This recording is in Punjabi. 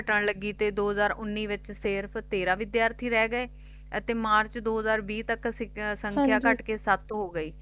ਗਿਣਤੀ ਘਟਣ ਲੱਗੀ ਤੇ ਦੋ ਹਜ਼ਾਰ ਉੱਨੀ ਵਿਚ ਫੇਰ ਸਿਰਫ ਤੇਰਾਂ ਵਿਦਿਆਰਥੀ ਰਹਿ ਗਏ ਅਤੇ ਮਾਰਚ ਦੋ ਹਜ਼ਾਰ ਵੀਹ ਤਕ ਸੀ ਸੰਖਿਆ ਘਟਕੇ ਸੱਤ ਹੋ ਗਈ